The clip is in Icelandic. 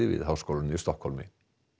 við háskólann í Stokkhólmi